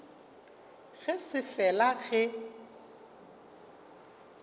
ge e se fela ge